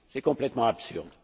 C'est complètement absurde!